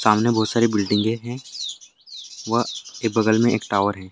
सामने बहुत सारी बिल्डिंगे हैं वह के बगल में एक टावर है।